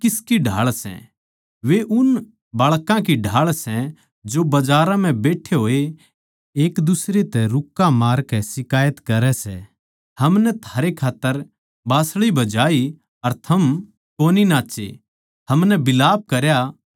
वे उन बाळकां की ढाळ सै जो बजारां म्ह बैट्ठे होए एक दुसरै तै रुक्के मारकै शिकायत करै सै हमनै थारै खात्तर बाँसली बजाई अर थम कोनी नाच्चे हमनै बिलाप करया अर थम कोनी रोए